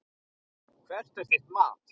Hvert er þitt mat?